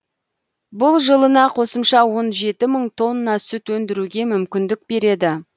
бұл жылына қосымша он жеті мың тонна сүт өндіруге мүмкіндік береді